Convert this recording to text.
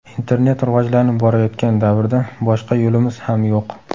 Internet rivojlanib borayotgan davrda boshqa yo‘limiz ham yo‘q.